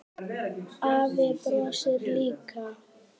Afi brosir líka.